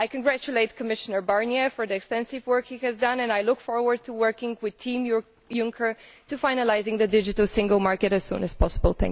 I congratulate Commissioner Barnier for the extensive work he has done and I look forward to working with Team Juncker on finalising the digital single market as soon as possible.